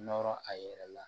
Nɔrɔ a yɛrɛ la